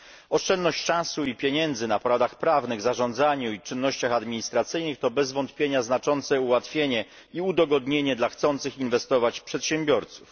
Oszczędność czasu i pieniędzy na poradach prawnych, zarządzaniu i czynnościach administracyjnych to bez wątpienia znaczące ułatwienie i udogodnienie dla chcących inwestować przedsiębiorców.